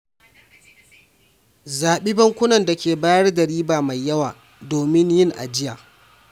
Zabin bankunan da ke bayar da riba mai yawa domin yin ajiya.